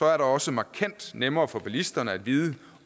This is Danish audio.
er det også markant nemmere for bilisterne at vide